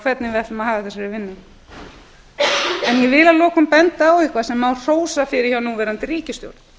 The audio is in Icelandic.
hvernig við ætlum að haga þessarni vinnu ég vil að lokum benda á eitthvað sem má hrósa hjá núverandi ríkisstjórn